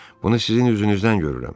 Bunu sizin üzünüzdən görürəm.